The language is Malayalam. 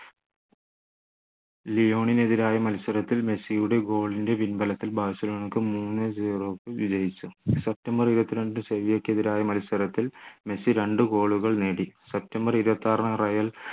ലിയോണിനെ എതിരായി മത്സരത്തിൽ മെസ്സിയുടെ goal ൻ്റെ പിൻബലത്തിൽ ബാഴ്സലോണക്ക് മൂന്നേ zero വിജയിച്ചു സെപ്റ്റംബർ ഇരുപത്തിരണ്ട് സെവിയ്യയ്ക്ക് എതിരായ മത്സരത്തിൽ മെസ്സി രണ്ടു goal കൾ നേടി സെപ്റ്റംബർ ഇരുപത്തിയാറിന് റയൽ